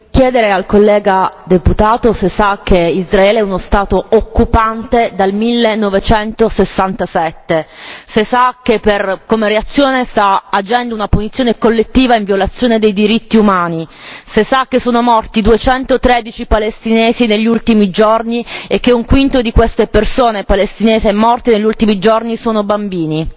Vorrei chiedere al collega deputato se sa che Israele è uno Stato occupante dal 1967, se sa che come reazione sta agendo una punizione collettiva in violazione dei diritti umani, se sa che sono morti 213 palestinesi negli ultimi giorni e che un quinto di queste persone palestinesi morte negli ultimi giorni sono bambini.